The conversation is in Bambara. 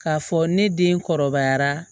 K'a fɔ ne den kɔrɔbayara